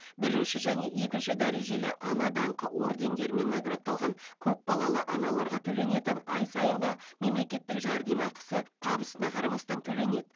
бірінші және екінші дәрежелі ана даңқы ордендерімен наградталған көпбалалы аналарға төленетін ай сайынғы мемлекеттік жәрдемақысы табысына қарамастан төленеді